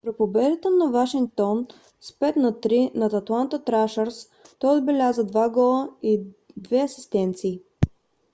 при победата на вашингтон с 5 на 3 над атланта трашърс той отбеляза 2 гола и 2 асистенции